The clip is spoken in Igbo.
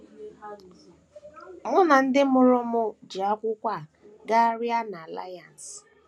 * Mụ na ndị mụrụ m ji akwụkwọ a gagharịa n’Alliance.